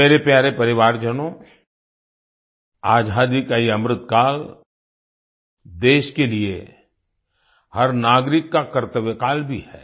मेरे प्यारे परिवारजनों आजादी का ये अमृतकाल देश के लिए हर नागरिक का कर्तव्यकाल भी है